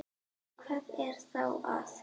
Hvað er þá að?